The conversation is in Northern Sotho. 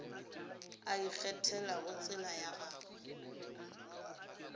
a ikgethelago tsela ya gagwe